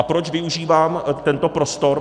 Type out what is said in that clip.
A proč využívám tento prostor?